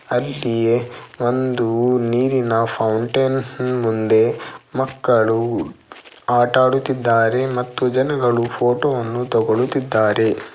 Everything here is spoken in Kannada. ಅಲ್ಲಿಯೆ ಒಂದು ನೀರಿನ ಫೌಂಟೈನ್ ಮುಂದೆ ಮಕ್ಕಳು ಆಟಾಡುತ್ತಿದ್ದಾರೆ ಮತ್ತು ಜನಗಳು ಫೋಟೋವನ್ನು ತಗೊಳುತ್ತಿದ್ದಾರೆ.